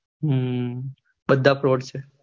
હમ બધા froud છે